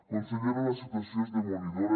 consellera la situació és demolidora